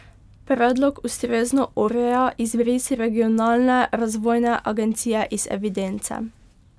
Predlog ustrezno ureja izbris regionalne razvojne agencije iz evidence.